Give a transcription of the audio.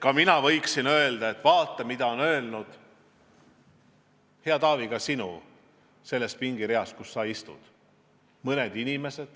Ka mina võiksin öelda, et vaata, mida on öelnud, hea Taavi, mõned inimesed selles pingireas, kus sa istud.